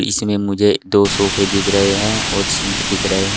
इसमें मुझे दो सोफे दिख रहे हैं और सिंक दिख रहे हैं।